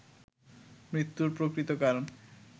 মৃত্যুর প্রকৃত কারণ